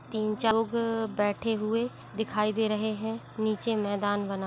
तीन चाउग बैठे हुऐ दिखाई दे रहे हैं नीचे मैदान बना --